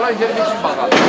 Bunları qoy burda yeyək.